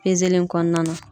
in kɔnɔna na.